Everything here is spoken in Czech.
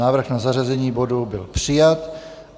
Návrh na zařazení bodu byl přijat.